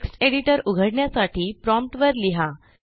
text editor उघडण्यासाठी prompt वर लिहा